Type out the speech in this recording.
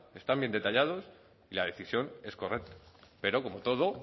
están bien detallados y la decisión es correcta pero como todo